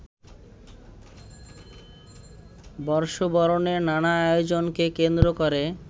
বর্ষবরণের নানা আয়োজনকে কেন্দ্র করে